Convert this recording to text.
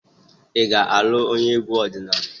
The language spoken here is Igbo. Ị ga-alụ onye egwu ọdịnala?